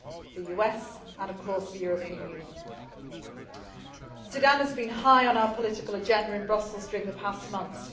the US and, of course, the European Union. Sudan has been high on our political agenda in Brussels during the past months.